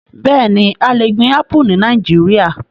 Bẹẹni, a le gbin Apu ni Nàìjíríà